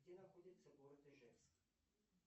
где находится город ижевск